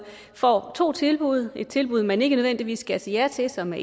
får to tilbud et tilbud man ikke nødvendigvis skal sige ja til som er